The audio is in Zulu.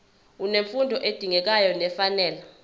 unemfundo edingekayo nefanele